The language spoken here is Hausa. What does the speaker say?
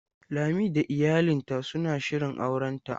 Lami da iyalinta suna shirin aurenta.